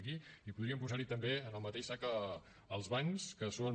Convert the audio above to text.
aquí podríem posar hi també en el mateix sac els bancs que són